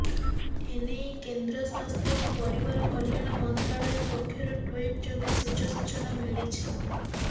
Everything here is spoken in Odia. ଏନେଇ କେନ୍ଦ୍ର ସ୍ୱାସ୍ଥ୍ୟ ଓ ପରିବାର କଲ୍ୟାଣ ମନ୍ତ୍ରାଳୟ ପକ୍ଷରୁ ଟ୍ୱିଟ ଯୋଗେ ସୂଚ ସୂଚନା ମିଳିଛି